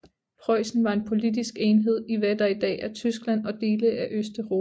Preussen var en politisk enhed i hvad der i dag er Tyskland og dele af Østeuropa